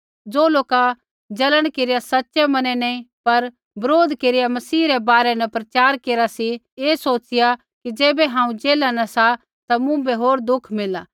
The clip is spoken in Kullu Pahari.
ज़ो लोका जलन केरिया सच़ै मने नैंई पर बरोध केरिया मसीह रै बारै न प्रचार केरा सी ऐ सोचिया कि ज़ैबै हांऊँ जेला न सा ता मुँभै होर दुःख मिलला